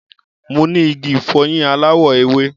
Mo ní igi ìfọyín aláwọ̀ ewé.